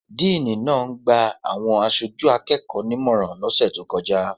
Díìní náà ń gba àwọn aṣojú akẹ́kọ̀ọ́ nímọ̀ràn lọ́sẹ̀ tó kọjá.